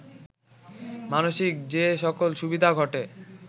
মানসিক যে সকল সুবিধা ঘটে